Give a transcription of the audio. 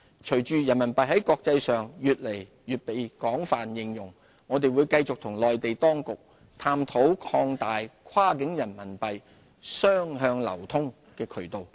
隨着人民幣在國際上越來越被廣泛應用，我們會繼續與內地當局探討擴大跨境人民幣雙向流通的渠道。